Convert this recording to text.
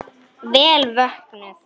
Vel vöknuð!